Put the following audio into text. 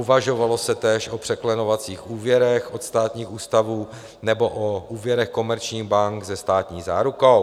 Uvažovalo se též o překlenovacích úvěrech od státních ústavů nebo o úvěrech komerčních bank se státní zárukou.